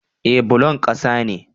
Eh bullon ƙasa ne